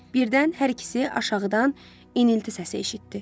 Birdən hər ikisi aşağıdan inilti səsi eşitdi.